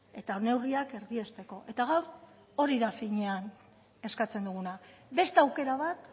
eta neurriak erdiesteko eta gaur hori da finean eskatzen duguna beste aukera bat